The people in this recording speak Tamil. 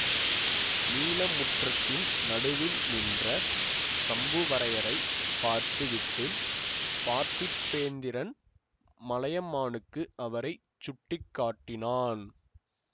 நீல முற்றத்தின் நடுவில் நின்ற சம்புவரையரைப் பார்த்து விட்டு பார்த்திபேந்திரன் மலையமானுக்கு அவரை சுட்டி காட்டினான்